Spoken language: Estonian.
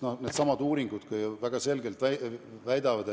Needsamad uuringud on ju väga selgelt näidanud,